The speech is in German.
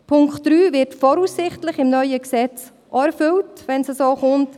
Der Punkt 3 wird voraussichtlich mit dem neuen Gesetz auch erfüllt, wenn es so kommt.